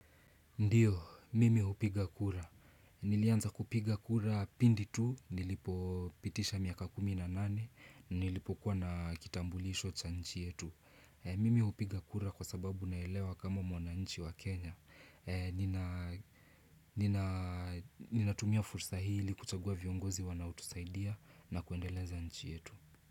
Ndiyo, mimi hupiga kura. Nilianza kupiga kura pindi tu, nilipo pitisha miaka kumi na nane, nilipo kuwa na kitambulisho cha nchi yetu. Eh Mimi hupiga kura kwa sababu naelewa kama mwananichi wa Kenya. Eh nina Nina tumia fursa hii ili kuchagua viongozi wanao tusaidia na kuendeleza nchi yetu.